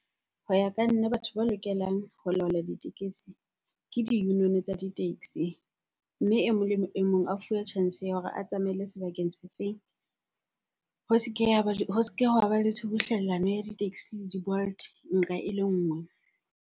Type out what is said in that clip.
Ho ya ka nna, batho ba lokelang ho laola ditekesi ke di-union-o tsa di-taxi. Mme e mong le e mong a fuwe chance ya hore a tsamaele sebakeng se feng. Ho se ke ya ho seke hwa ba le tshubuhlellano ya di-taxi le di-Bolt nqa e le nngwe.